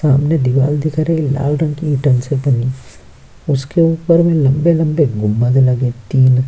सामने दीवार दिख रे लाल रंग की इटन से बनी उसके ऊपर में लंबे-लंबे गुंबद लगे तीन --